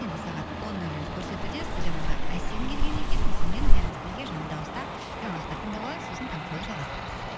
енді сағат он нөл нөлді көрсетуде студиямызға әсем келген екен әсеммен бәріміз бірге жанды дауыста жаңалықтар тыңдап алайық сосын таңғы шоуды жалғастырамыз